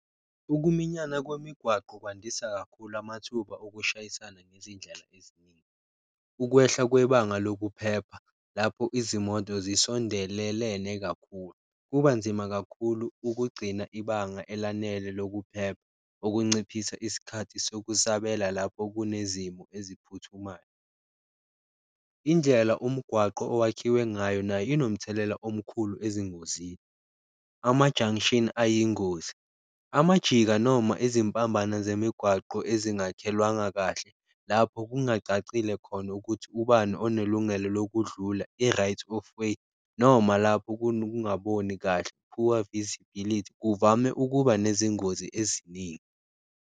Ukuminyana kwemigwaqo kwandisa kakhulu amathuba okushayisana ngezindlela eziningi, ukwehla kwebanga lokuphepha lapho izimoto zisondelelene kakhulu, kuba nzima kakhulu ukugcina ibanga elanele lokuphepha okunciphisa isikhathi sokuthi sabela lapho kunezimo eziphuthumayo. Indlela umgwaqo owakhiwe ngayo nayo inomthelela omkhulu ezingozini, ama-junction ayingozi, amajika noma izimpambano zemigwaqo ezingakhelwanga kahle lapho kungacacile khona ukuthi ubani onelungelo lokudlula i-right of way. Noma lapho kunokungaboni kahle, poor visibility kuvame ukuba nezingozi eziningi.